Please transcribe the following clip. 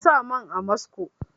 Na sa man amasco